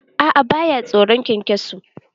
A'a, ba ya tsoron kyankyaso.